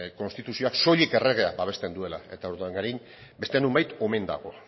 konstituzioak soilik erregeak babesten duela eta urdangarin beste nonbait omen dago